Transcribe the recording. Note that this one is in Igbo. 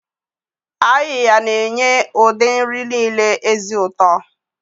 Ayiya na-enye ụdị nri niile ezi ụtọ.